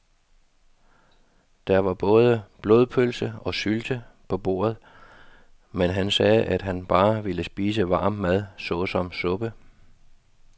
Der var både blodpølse og sylte på bordet, men han sagde, at han bare ville spise varm mad såsom suppe.